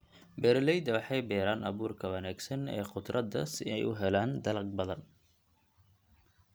Beeraleyda waxay beeraan abuurka wanaagsan ee khudradda si ay u helaan dalag badan.